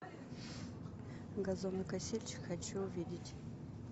газонокосильщик хочу увидеть